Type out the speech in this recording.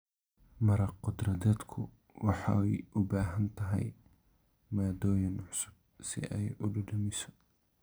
Maraq khudradeedku waxay u baahan tahay maaddooyin cusub si ay u dhadhamiso.